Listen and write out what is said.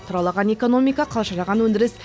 тұралаған экономика қалжыраған өндіріс